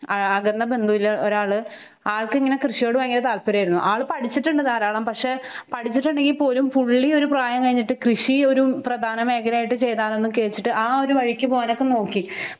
ആ അകന്ന ബന്ധുവില് ഒരാള് ആൾക്കിങ്ങനെ കൃഷിയുട് പയങ്കര താല്പര്യായിരുന്നു. ആള് പഠിച്ചിട്ടുണ്ട് ധാരാളം. പക്ഷെ ഹ് പഠിച്ചിട്ടുണ്ടെങ്കിൽപോലും പുള്ളിയൊരു പ്രായം കഴിഞ്ഞിട്ട് കൃഷിയൊരു പ്രധാനമേഖലയായിട്ട് ചെയ്താലൊന്ന് കേട്ടിട്ട് ആ ഒരു വഴിക്ക് പോകാനൊക്കെ നോക്കി